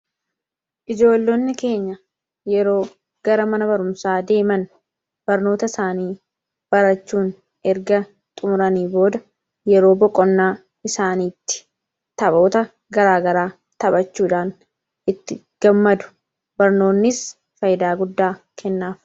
Ijoollonni keenya yeroo gara mana barumsaa deeman barnoota isaanii barachuun erga xumuranii booda yeroo boqonnaa isaaniitti taphoota garaagaraa taphachuudhaan itti gammadu. Barnoonnis fayidaa guddaa kennaaf.